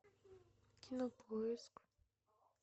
кинопоиск